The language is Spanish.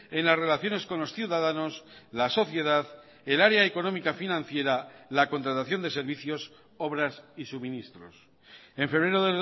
en las relaciones con los ciudadanos la sociedad el área económica financiera la contratación de servicios obras y suministros en febrero